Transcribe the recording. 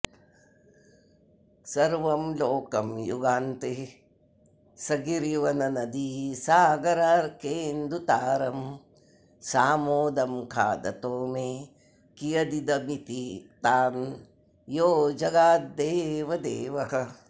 सर्वं लोकं युगान्ते सगिरिवननदीसागरार्केन्दुतारं सामोदं खादतो मे कियदिदमिति तान् योऽजगाद्देवदेवः